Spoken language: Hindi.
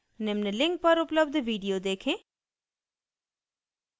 निम्न link पर उपलब्ध video देखें